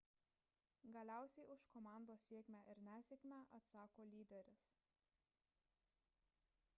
galiausiai už komandos sėkmę ir nesėkmę atsako lyderis